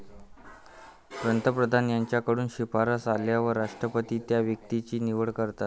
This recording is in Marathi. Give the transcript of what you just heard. पंतप्रधान यांकडून शिफारस आल्यावर राष्ट्रपती त्या व्यक्तीची निवड करतात.